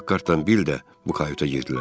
Pakhartdan Bil də bu kayuta girdilər.